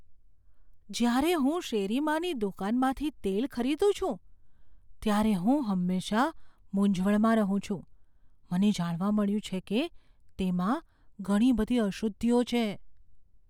જ્યારે હું શેરીમાંની દુકાનમાંથી તેલ ખરીદું છું ત્યારે હું હંમેશા મૂંઝવણમાં રહું છું. મને જાણવા મળ્યું છે કે તેમાં ઘણી બધી અશુદ્ધિઓ છે.